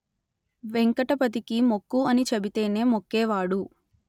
వెంకటపతికి మొక్కు అని చెబితేనే మొక్కేవాడు